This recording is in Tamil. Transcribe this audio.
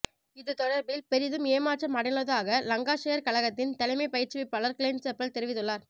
இது தொடர்பில் பெரிதும் ஏமாற்றம் அடைந்துள்ளதாக லங்காஷெயார் கழகத்தின் தலைமைப் பயிற்றுவிப்பாளர் க்ளென் செப்பல் தெரிவித்துள்ளார்